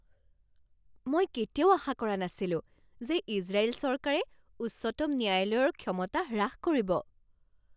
মই কেতিয়াও আশা কৰা নাছিলো যে ইজৰাইল চৰকাৰে উচ্চতম ন্যায়ালয়ৰ ক্ষমতা হ্ৰাস কৰিব।